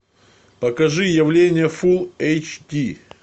покажи явление фул эйч ди